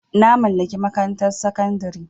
Na mallaki makarantar sakandare.